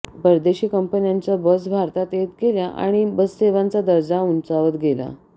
परदेशी कंपन्यांच्या बस भारतात येत गेल्या आणि बससेवांचा दर्जा उंचावत गेला